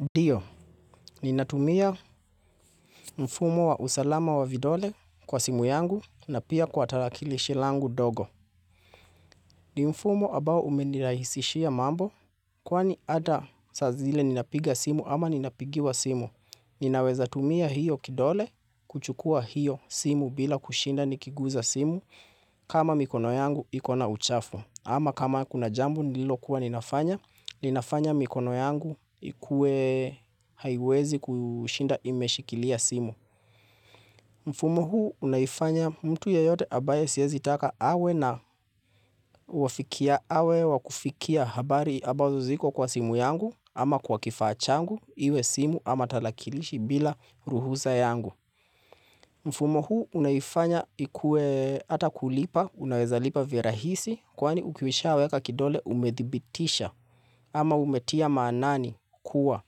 Ndio, ninatumia mfumo wa usalama wa vidole kwa simu yangu na pia kwa tarakilishi langu dogo. Ni mfumo ambao umenirahisishia mambo kwani hata saa zile ninapiga simu ama ninapigiwa simu. Ninaweza tumia hiyo kidole kuchukua hiyo simu bila kushinda nikiguza simu kama mikono yangu iko na uchafo. Ama kama kuna jambu nililokuwa ninafanya, linafanya mikono yangu ikue haiwezi kushinda imeshikilia simu. Mfumo huu unaifanya mtu ya yote ambaye siezi taka awe na uafikia awe wakufikia habari abazo ziko kwa simu yangu ama kwa kifachangu iwe simu ama talakilishi bila ruhusa yangu. Mfumo huu unaifanya ikue ata kulipa, unaweza lipa virahisi kwani ukisha weka kidole umedhibitisha ama umetia maanani kuwa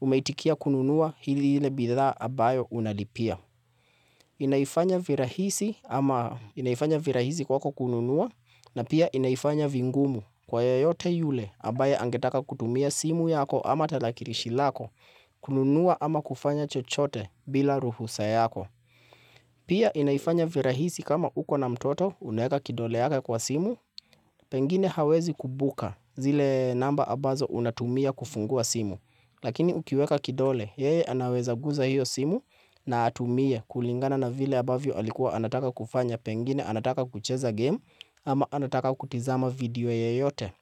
umetikia kununua hili hile bidhaa abayo unalipia. Inaifanya virahisi ama inaifanya virahisi kwako kununua na pia inaifanya vingumu. Kwa yeyote yule, ambaye angetaka kutumia simu yako ama tarakirishi lako, kununua ama kufanya chochote bila ruhusa yako. Pia inaifanya virahisi kama uko na mtoto unaeka kidole yake kwa simu, pengine hawezi kumbuka zile namba ambazo unatumia kufungua simu. Lakini ukiweka kidole, yeye anaweza guza hiyo simu na atumie kulingana na vile ambavyo alikuwa anataka kufanya, pengine anataka kucheza game ama anataka kutizama video yeyote.